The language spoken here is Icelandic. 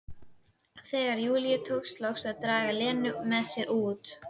Þegar Júlíu tókst loks að draga Lenu með sér út.